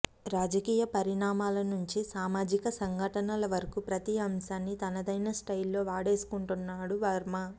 రాజకీయ పరిణామాల నుంచి సామాజిక సంఘటనల వరకు ప్రతీ అంశాన్ని తనదైన స్టైల్లో వాడేసుకుంటున్నాడు వర్మ